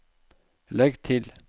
legg til